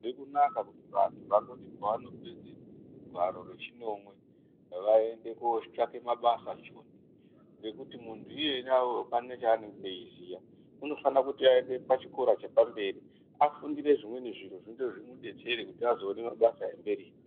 Hazvizi kunaka kuti vantu vangoti pavanopedze gwaro rechinomwe, vaende kotsvaka mabasa Joni. Ngekuti muntu iyena uwowo apana cheanonga eiziya, unofane kuti aende pachikora chepamberi achifundire zvimweni zviro, zvinoita kuti zvimudetsere azoona mabasa emberi iyo.